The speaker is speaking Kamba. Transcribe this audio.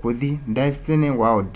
kuthi disney world